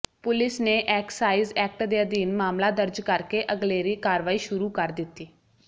police ਨੇ excise act ਦੇ ਅਧੀਨ ਮਾਮਲਾ ਦਰਜ ਕਰਕੇ ਅਗਲੇਰੀ ਕਾਰਵਾਈ ਸ਼ੁਰੂ ਕਰ ਦਿੱਤੀ